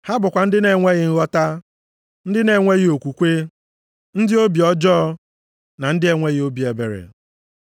Ha bụkwa ndị na-enweghị nghọta, ndị na-enweghị okwukwe, ndị obi ọjọọ na ndị na-enweghị obi ebere.